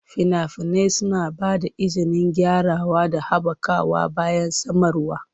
Fina-finai suna ba da izinin gyarawa da haɓakawa bayan samarwa.